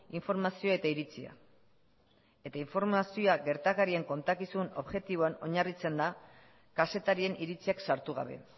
informazioa eta iritzia eta informazioa gertakarien kontakizun objektiboan oinarritzen da kazetarien iritziak sartu gabe